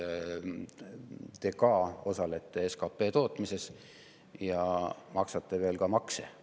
Ka teie osalete SKP tootmises ja maksate veel makse ka.